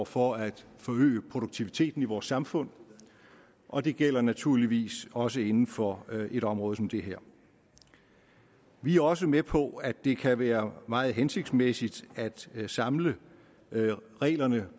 for at forøge produktiviteten i vores samfund og det gælder naturligvis også inden for et område som det her vi er også med på at det kan være meget hensigtsmæssigt at samle reglerne